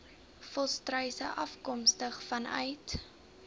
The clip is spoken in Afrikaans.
volstruise afkomstig vanuit